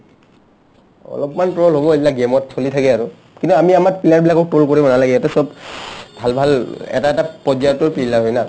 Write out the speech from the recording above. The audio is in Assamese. অলপমান troll হ'বৈ এইবিলাক game ত শুনি থাকে আৰু কিন্তু আমি আমাৰ player বিলাকক troll কৰিব নালাগে ইহতে চব ভাল ভাল এটা এটা পৰ্য্যায়ৰটো peela হয় না